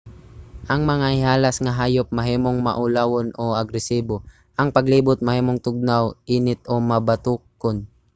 ang mga ihalas nga hayop mahimong maulawon o agresibo. ang palibot mahimong tugnaw init o mabatokon